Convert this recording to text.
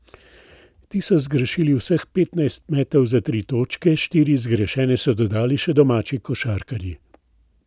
Ti so zgrešili vseh petnajst metov za tri točke, štiri zgrešene so dodali še domači košarkarji.